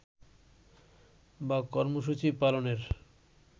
বা কর্মসূচি পালনের